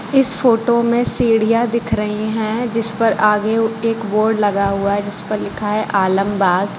इस फोटो में सीढ़ियां दिख रही हैं जिस पर आगे एक बोर्ड लगा हुआ है जिस पर लिखा है आलमबाग।